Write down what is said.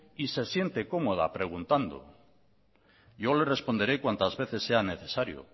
y se siente cómoda preguntando yo le responderé cuantas veces sea necesario